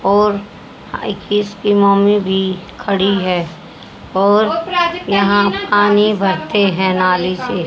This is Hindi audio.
और आई किस की मम्मी भी खड़ी है और यहां पानी भरते हैं नाली से।